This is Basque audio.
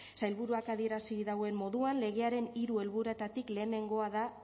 sailburuak adierazi dauen moduan legearen hiru helburuetatik lehenengoa da